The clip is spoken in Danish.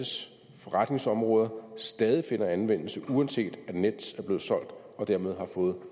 forretningsområder stadig finder anvendelse uanset om nets er blevet solgt og dermed har fået